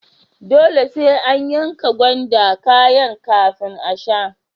Dole sai an yanka gwanda kayan kafin a sha.